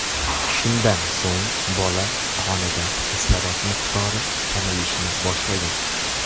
Shundan so‘ng bola qonida kislorod miqdori kamayishni boshlagan.